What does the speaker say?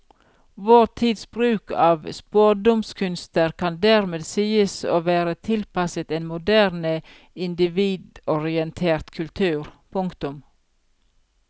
Vår tids bruk av spådomskunster kan dermed sies å være tilpasset en moderne individorientert kultur. punktum